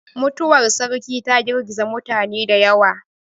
Mutuwar sarki ta girgiza mutane da yawa.